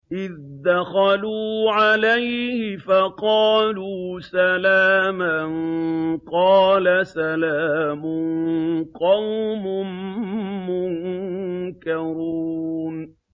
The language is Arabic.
إِذْ دَخَلُوا عَلَيْهِ فَقَالُوا سَلَامًا ۖ قَالَ سَلَامٌ قَوْمٌ مُّنكَرُونَ